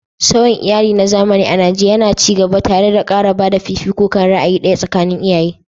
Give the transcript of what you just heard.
Sauyin iyali na zamani a Najeriya yana ci gaba, tare da ƙara ba da fifiko kan ra'ayi ɗaya tsakanin iyaye.